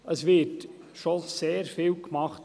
Es wird schon sehr vieles getan.